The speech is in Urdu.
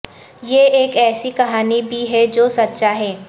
یہ ایک ایسی کہانی بھی ہے جو سچا ہے